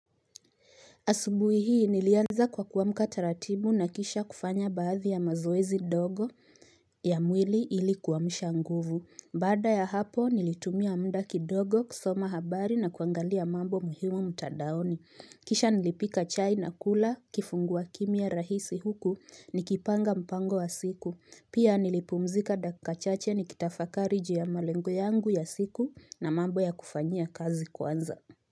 Asubuhi hii nilianza kwa kuwamka taratibu na kisha kufanya baadhi ya mazoezi dogo ya mwili iliku amsha nguvu. Bada ya hapo nilitumia mda kidogo kusoma habari na kuangalia mambo muhimu mtandaoni. Kisha nilipika chai na kula kifungua kimya rahisi huku nikipanga mpango wa siku. Pia nilipumzika dakika chache nikitafakari ju ya malengo yangu ya siku na mambo ya kufanyia kazi kwanza.